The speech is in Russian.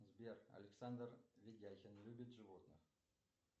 сбер александр видяхин любит животных